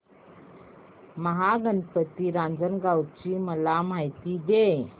महागणपती रांजणगाव ची मला माहिती दे